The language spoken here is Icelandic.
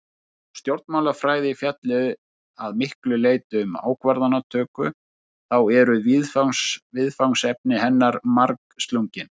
Þótt stjórnmálafræði fjalli að miklu leyti um ákvarðanatöku þá eru viðfangsefni hennar margslungin.